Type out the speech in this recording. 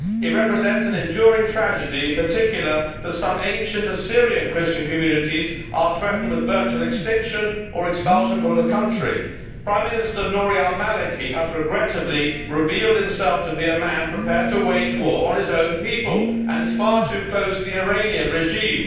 It represents an enduring tragedy, in particular that some ancient Christian Assyrian communities are threatened with virtual extinction or expulsion from the country. Prime Minister Nouri Al Maliki has, regrettably, revealed himself to be a man prepared to wage war on his own people and is far too close to the Iranian regime.